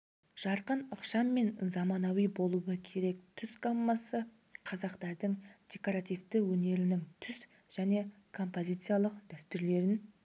жарқын ықшам және заманауи болуы керек түс гаммасы қазақтардың декоративті өнерінің түс және композициялық дәстүрлерін